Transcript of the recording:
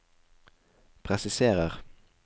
presiserer